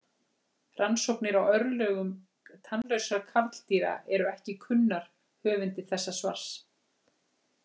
Rannsóknir á örlögum tannlausra karldýra eru ekki kunnar höfundi þessa svars.